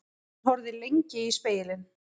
Hann horfði lengi í spegilinn.